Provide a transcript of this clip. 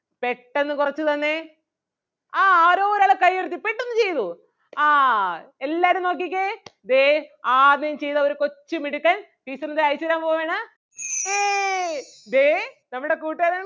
പെട്ടന്ന് കൊറച്ച് തന്നേ ആഹ് ആരോ ഒരാള് കയ്യുയർത്തി പെട്ടന്ന് ചെയ്‌തു ആഹ് എല്ലാരും നോക്കിക്കേ ദേ ആദ്യം ചെയ്ത ഒരു കൊച്ചു മിടുക്കൻ teacher ന് ദേ അയച്ചു തരാൻ പോവയാണ് ഏയ് ദേ നമ്മുടെ കൂട്ടുകാരൻ